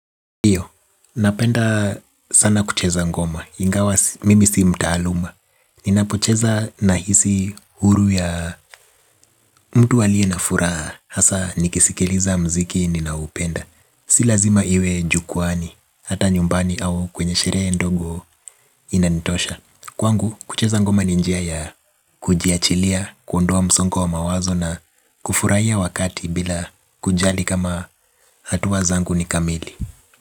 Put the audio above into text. Napenda sana kucheza ngoma, ingawa mimi si mtaaluma. Ninapocheza nahisi huru ya mtu aliye na furaha. Hasa nikisikiliza mziki ninaoupenda. Si lazima iwe jukwaani, hata nyumbani au kwenye sheree ndogo inanitosha. Kwangu, kucheza ngoma ni njia ya kujiachilia, kuondoa msongo wa mawazo na kufurahia wakati bila kujali kama hatua zangu ni kamili.